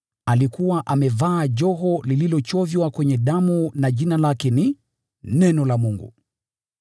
Amevaa joho lililochoviwa katika damu, na Jina lake ni “Neno la Mungu.”